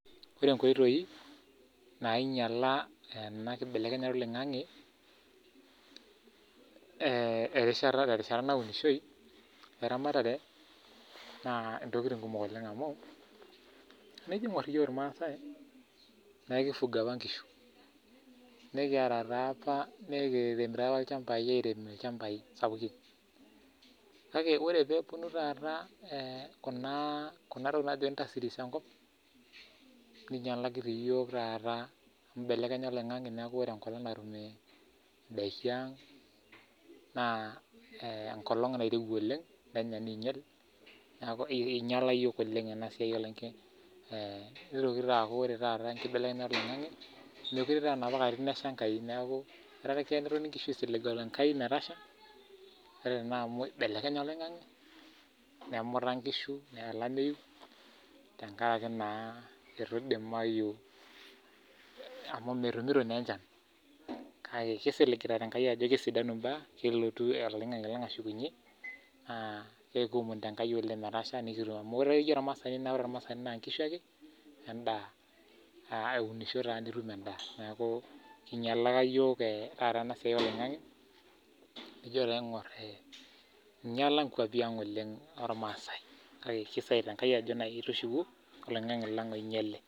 Ore enkoitoi nainyala ana nkibelekenyata eloing'ang'e te rishata naunishoi o eramatare naa entokitin kumok oleng amuu, eniji ing'or iye ilmaasai baa keifuga apa inkishu, nikieta taa apa nikitimira ilchambai airem ilchambai sapukin, kake ore peeponu taata kuna ntokitin naaji intastris enkop neinyalaki reii iyook taata inbelekenya eloing'ang'e neinyal indaki aang' naa enkolong nairewua oleng naya neinyal neaku einyala yook oleng ena siai eloing'ang'e ,neitoki taata aaku ore taata nkibelekenyata eloing'ang'e, mekore aa napa katitin esha enkai naaku, ore keyei enkishu kisiligita enkai metasha, ore nai amu eibelekenye oloing'ang'e, nemuta inkishu, neya olameiyu tengaraki naa olameiyu amu metemuto naa enchan, kake kisiligita enkai ajo kesidanu imbaa, kelotu eloing'ang'e ashukunye, naa ekiomonito enkai oleng metasha amu ijo ore ilmaasai naa enkishu ake endaa, aa eunisho taa nitum endaa naaku einyalaka yook taata ena siai eloing'ang'e nijo taa aing'or einyala nkuapi aang' oleng olmaasai, kake kisaita enkai oleng ajo tushuku oloing'ang'e lang' oinyale.